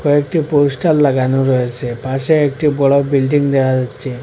কয়েকটি পোস্টার লাগানো রয়েসে পাশে একটি বড়ো বিল্ডিং দেহা যাচ্ছে।